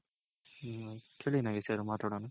ಹಮ್ ಕೇಳಿ ನಾಗೇಶ್ ಅವ್ರೆ ಮಾತಾಡೋಣ.